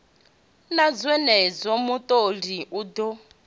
na zwenezwo mutholi u ḓo